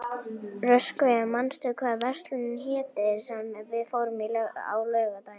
Röskvi, manstu hvað verslunin hét sem við fórum í á laugardaginn?